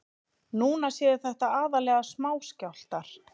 Núna séu þetta aðallega smáskjálftar